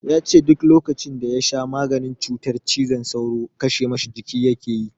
Ya ce duk lokacin da ya sha maganin cutar cizon sauro kashe ma shi jiki yake yi.